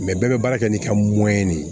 bɛɛ bɛ baara kɛ n'i ka de ye